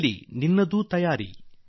ಆಗಲಿ ನಮ್ಮ ತಯಾರಿ